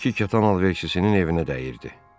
İki kətan alverçisinin evinə dəyirdi.